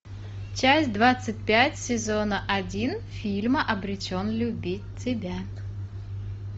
часть двадцать пять сезона один фильма обречен любить тебя